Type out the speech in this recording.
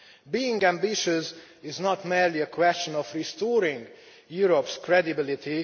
Being ambitious is not merely a question of restoring Europe's credibility